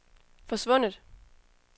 forsvundet